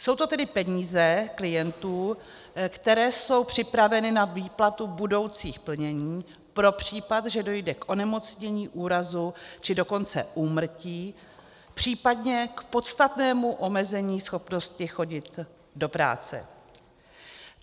Jsou to tedy peníze klientů, které jsou připraveny na výplatu budoucích plnění pro případ, že dojde k onemocnění, úrazu, či dokonce úmrtí, případně k podstatnému omezení schopnosti chodit do práce.